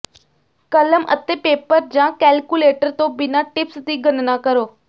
ਕਲਮ ਅਤੇ ਪੇਪਰ ਜਾਂ ਕੈਲਕੁਲੇਟਰ ਤੋਂ ਬਿਨਾਂ ਟਿਪਸ ਦੀ ਗਣਨਾ ਕਰੋ